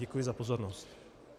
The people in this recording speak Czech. Děkuji za pozornost.